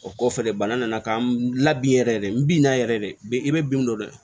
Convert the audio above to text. O kɔfɛ de bana nana ka n labɛn yɛrɛ de n bi na yɛrɛ de i bɛ binw dɔn